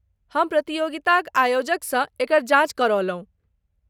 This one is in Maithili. हम प्रतियोगिताक आयोजकसँ एकर जॉच करौलहुँ।